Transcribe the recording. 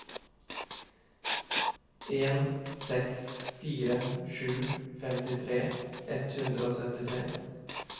en seks fire sju femtitre ett hundre og syttifire